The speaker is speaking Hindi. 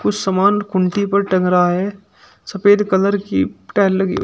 समान कुंती पर टंग रहा है सफेद कलर की टाइल्स लगी हुई--